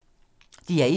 DR1